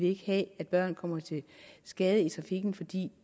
ikke have at børn kommer til skade i trafikken fordi